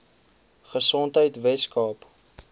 gesondheidweskaap